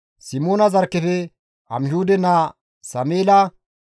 Simoona zarkkefe Amihuude naa Sameela,